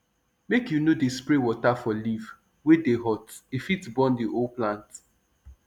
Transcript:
make u no dey spray water for leaf wey dey hot e fit burn the whole plant